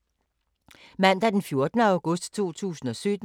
Mandag d. 14. august 2017